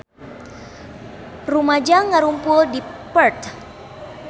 Rumaja ngarumpul di Perth